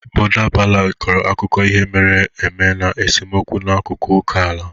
Border ballads kọrọ akụkọ ihe mere eme na esemokwu n'akụkụ oke ala.